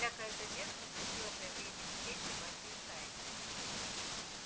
всякая задержка грозила появлением всей собачьей стаи